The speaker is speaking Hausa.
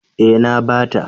Eh na bata.